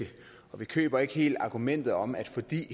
og vi køber ikke helt argumentet om at fordi